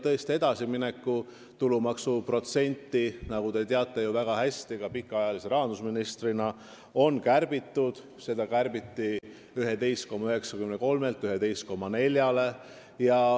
Nagu te endise pikaajalise rahandusministrina väga hästi teate, on omavalitsuste tulumaksu protsenti kärbitud 11,93-lt 11,4-le.